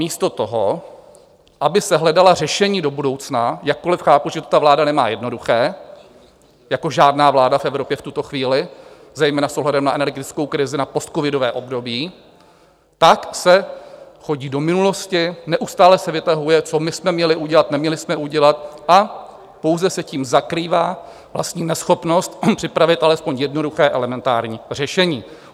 Místo toho, aby se hledala řešení do budoucna - jakkoliv chápu, že to ta vláda nemá jednoduché jako žádná vláda v Evropě v tuto chvíli, zejména s ohledem na energetickou krizi, na postcovidové období - tak se chodí do minulosti, neustále se vytahuje, co my jsme měli udělat, neměli jsme udělat, a pouze se tím zakrývá vlastní neschopnost připravit alespoň jednoduché, elementární řešení.